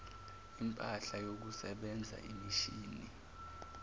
impahla yokusebenza imishini